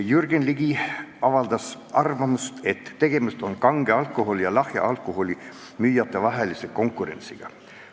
Jürgen Ligi avaldas arvamust, et tegemist on kange alkoholi ja lahja alkoholi müüjate vahelise konkurentsiga.